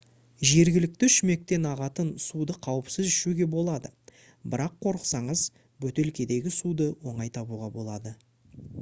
жергілікті шүмектен ағатын суды қауіпсіз ішуге болады бірақ қорықсаңыз бөтелкедегі суды оңай табуға болады